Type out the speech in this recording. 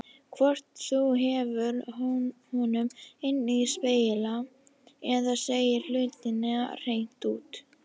Hvort þú vefur honum inní spegla eða segir hlutina hreint út.